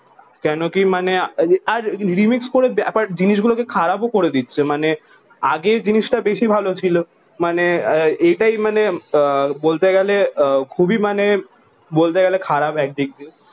কেন কি মানে আর রিমিক্স করে ব্যাপার আর জিনিস গুলো কে খারাপ ও করে দিচ্ছে মানে আগে জিনিস তা বেশি ভালো ছিল মানে এটাই মানে আহ বলতে গেলে খুবই মানে বলতে গেলে খারাপ এক দিয়ে